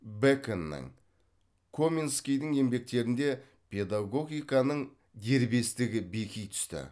бэконның коменскийдің еңбектерінде педагогиканың дербестігі беки түсті